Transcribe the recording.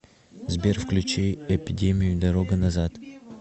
сбер включи эпидемию дорога назад